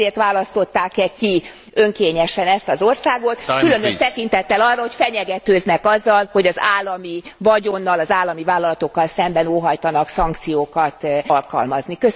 Nem ezért választották e ki önkényesen ezt az országot, különös tekintettel arra, hogy fenyegetőznek azzal, hogy az állami vagyonnal, az állami vállalatokkal szemben óhajtanak szankciókat alkalmazni?